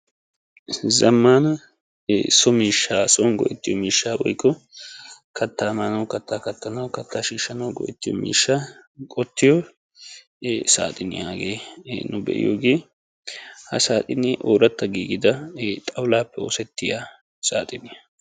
zamaana so miishshaa woykko son go'ettiyo miishshaa kataa maanawu., kataa shiishshanawu, kataa kattanawu go'ettiyo miishshaa wottiyo saaxxiniya hagee ee nu be'iyoogee ha saaxxinee ooratta giigidda ee xawulaappe oosettiya saaxxiniya hagee.